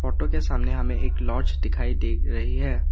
के सामने हमे एक लॉज दिखाई दे रही है।